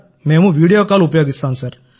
మేం video call ఉపయోగిస్తాం